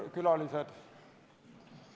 Head külalised!